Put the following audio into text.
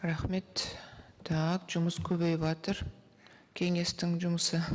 рахмет так жұмыс көбейіватыр кеңестің жұмысы